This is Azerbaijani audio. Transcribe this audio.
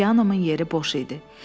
Pianomun yeri boş idi.